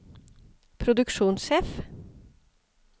produksjonssjef